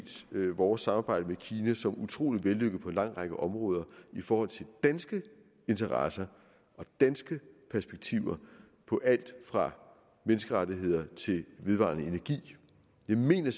vores samarbejde med kina som utrolig vellykket på en lang række områder i forhold til danske interesser og danske perspektiver på alt fra menneskerettigheder til vedvarende energi jeg mener